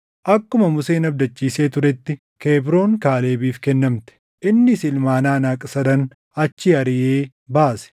Akkuma Museen abdachiisee turetti Kebroon Kaalebiif kennamte; innis ilmaan Anaaq sadan achii ariʼee baase.